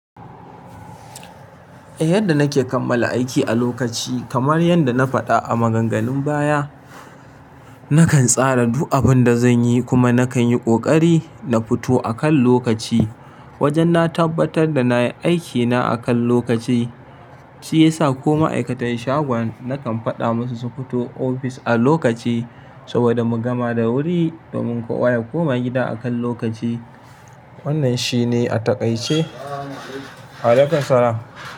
Eh, yadda nake kammala aiki a lokaci, kamar yadda na faɗa a maganganun baya, nakan tsara duk abin da zan yi kuma nakan yi ƙoƙari na fito akan lokaci. Wajen na tabbatar da na yi aikina akan lokaci, shi ya sa ko ma'aikatan shagon nakan faɗa musu su fito ofis a lokaci saboda mu gama da wuri domin kowa ya koma gida akan lokaci. Wannan shine a taƙaice.